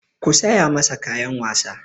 Ku saya masa kayan wasa!